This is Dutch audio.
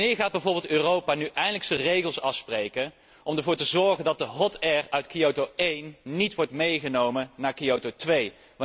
Wanneer gaat bijvoorbeeld Europa nu eindelijk regels afspreken om ervoor te zorgen dat de hot air uit Kyoto I niet wordt meegenomen naar Kyoto II?